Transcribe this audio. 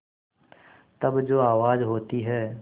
तब जो आवाज़ होती है